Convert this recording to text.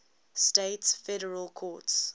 states federal courts